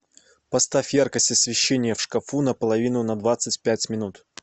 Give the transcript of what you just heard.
поставь яркость освещение в шкафу на половину на двадцать пять минут